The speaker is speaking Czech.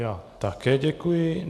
Já také děkuji.